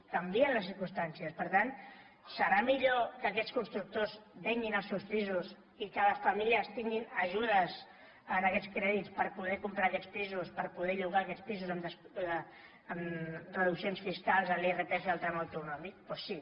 canvien les circumstàncies per tant serà millor que aquests constructors venguin els seus pisos i que les famílies tinguin ajudes en aquests crèdits per poder comprar aquests pisos per poder llogar aquests pisos amb reduccions fiscals a l’irpf al tram autonòmic doncs sí